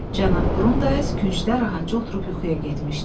Cənab Qrundays küncdə rahatca oturub yuxuya getmişdi.